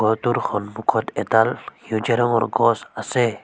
Photo ৰ সন্মুখত এডাল সেউজীয়া ৰঙৰ গছ আছে।